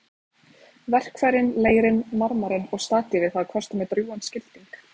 Verkfærin, leirinn, marmarinn og statífið hafa kostað mig drjúgan skilding.